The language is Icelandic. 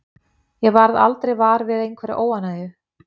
Ég varð aldrei var við einhverja óánægju.